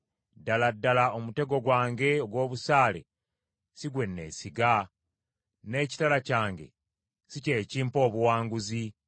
Ddala ddala omutego gwange ogw’obusaale si gwe neesiga, n’ekitala kyange si kye kimpa obuwanguzi.